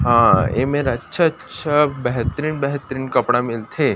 अ ऐमेर अच्छा अच्छा बेहतरीन बेहतरीन कपड़ा मिलथे।